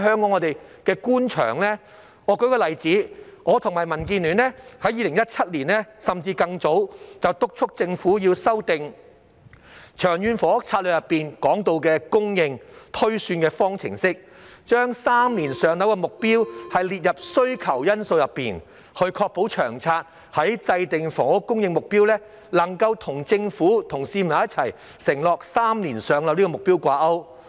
我舉一個例子，我和民建聯從2017年甚至更早已督促政府修訂《長遠房屋策略》當中提到供應推算的方程式，把3年"上樓"的目標列入需求因素內，確保《長策》在制訂房屋供應目標時，能夠與政府向市民承諾3年"上樓"這個目標掛鈎。